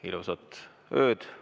Ilusat ööd!